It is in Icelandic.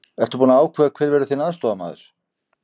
Ertu búinn að ákveða hver verður þinn aðstoðarmaður?